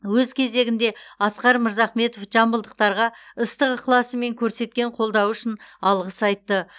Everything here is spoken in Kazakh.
өз кезегінде асқар мырзахметов жамбылдықтарға ыстық ықыласы мен көрсеткен қолдауы үшін алғыс айтты